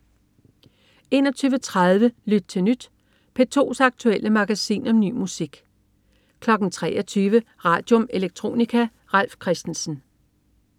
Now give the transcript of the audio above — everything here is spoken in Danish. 21.30 Lyt til Nyt. P2's aktuelle magasin om ny musik 23.00 Radium. Electronica. Ralf Christensen